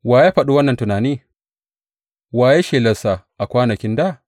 Wa ya faɗa wannan tuntuni, wa ya yi shelar sa a kwanakin dā?